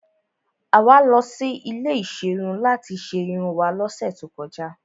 Àwa lọ sí ilé ìserun láti ṣe irun wá lọ́sẹ̀ tó kọjá.